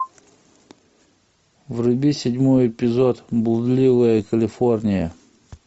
вруби седьмой эпизод блудливая калифорния